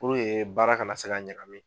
Puruke baara kana se ka ɲagami.